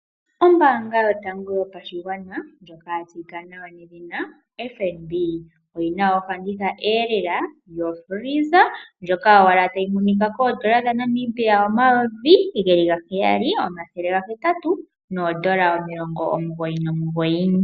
Ombaanga yotango yopashigwana ndjoka ya tseyika nawa FNB, oyina ofandithaelela yokila yokutalaleka ndjoka tayi monika N$7899.